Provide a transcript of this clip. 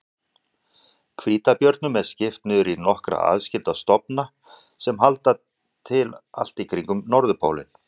Hvítabjörnum er skipt niður í nokkra aðskilda stofna sem halda til allt í kringum norðurpólinn.